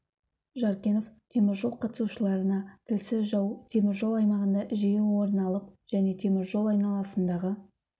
жаркенов семинар қатысушыларына тілсіз жау темір жол аймағында жие орын алып және темір жол айналасындағы